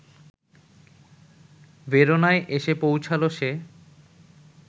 ভেরোনায় এসে পৌঁছাল সে